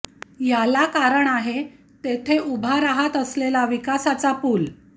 याला कारण आहे तेथे उभा राहत असलेला विकासाचा पूल